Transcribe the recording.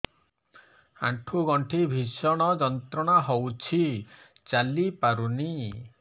ଆଣ୍ଠୁ ଗଣ୍ଠି ଭିଷଣ ଯନ୍ତ୍ରଣା ହଉଛି ଚାଲି ପାରୁନି